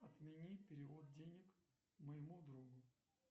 отмени перевод денег моему другу